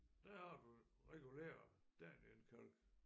Der har du regulær danienkalk